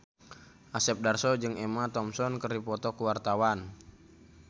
Asep Darso jeung Emma Thompson keur dipoto ku wartawan